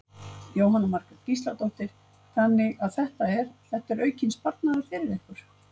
Jóhanna Margrét Gísladóttir: Þannig að þetta er, þetta er aukinn sparnaður fyrir ykkur?